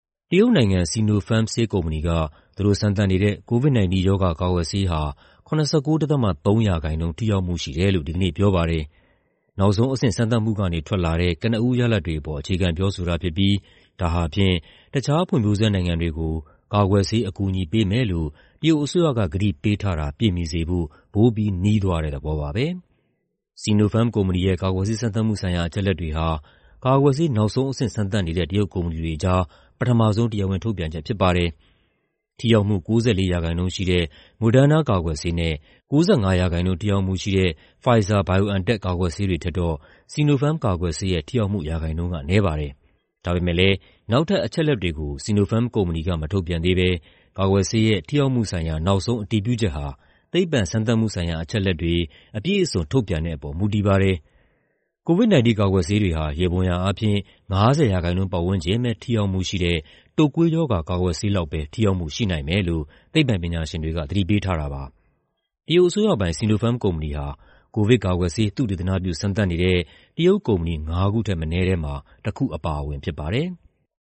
တရုတ်နိုင်ငံ၊ Sinopharm ဆေးကုမ္ပဏီက သူတို့စမ်းသပ်နေတဲ့ COVID-19 ရောဂါကာကွယ်ဆေးဟာ ၇၉.၃% ထိရောက်မှု ရှိတယ်လို့ ဒီကနေ့ပြောပါတယ်။ နောက်ဆုံးအဆင့် စမ်းသပ်မှုကနေ ထွက်လာတဲ့ ကနဦးရလဒ်တွေအပေါ် အခြေခံပြောဆိုတာဖြစ်ပြီး ဒါဟာဖြင့် တခြားဖွံ့ဖြိုးဆဲနိုင်ငံတွေကို ကာကွယ်ဆေး အကူအညီပေးမယ်လို့ တရုတ်အစိုးရက ကတိပေးထားတာ ပြည့်မီစေဖို့ ပိုပြီး နီးသွားတဲ့သဘောပါပဲ။ Sinopharm ကုမ္ပဏီရဲ့ ကာကွယ်ဆေး စမ်းသပ်မှုဆိုင်ရာ အချက်အလက်တွေဟာ ကာကွယ်ဆေး နောက်ဆုံးအဆင့် စမ်းသပ်နေတဲ့ တရုတ်ကုမ္ပဏီတွေကြား ပထမဆုံး တရားဝင်ထုတ်ပြန်ချက်ဖြစ်ပါတယ်။ ထိရောက်မှု ၉၄% ရှိတဲ့ Moderna ကာကွယ်ဆေးနဲ့ ၉၅% ထိရောက်မှုရှိတဲ့ Pfizer/BioNTech ကာကွယ်ဆေးတွေထက်တော့ Sinopharm ကာကွယ်ဆေးရဲ့ ထိရောက်မှုရာခိုင်နှုန်းက နည်းပါတယ်။ ဒါပေမဲ့လည်း နောက်ထပ် အချက်အလက်တွေကို Sinopharm ကုမ္ပဏီက မထုတ်ပြန်ဘဲ ကာကွယ်ဆေးရဲ့ ထိရောက်မှုဆိုင်ရာ နောက်ဆုံးအတည်ပြုချက်ဟာ သိပ္ပံစမ်းသပ်မှုဆိုင်ရာ အချက်အလက်တွေ အပြည့်အစုံ ထုတ်ပြန်တဲ့အပေါ် မူတည်နေပါတယ်။ COVID-19 ကာကွယ်ဆေးတွေဟာ ယေဘုယျအားဖြင့် ၅၀% ပတ်ဝန်းကျင်ပဲ ထိရောက်မှုရှိတဲ့ တုပ်ကွေးရောဂါ ကာကွယ်ဆေးလောက်ပဲ ထိရောက်မှုရှိနိုင်မယ်လို့ သိပ္ပံပညာရှင်တွေက သတိပေးထားပါတယ်။ တရုတ်အစိုးရပိုင် Sinopharm ကုမ္ပဏီဟာ ကိုဗစ်ကာကွယ်ဆေး သုတေသနပြု စမ်းသပ်နေတဲ့ တရုတ်ကုမ္ပဏီ ငါးခုထက်မနည်းထဲမှာ တစ်ခုအပါအဝင်ဖြစ်ပါတယ်။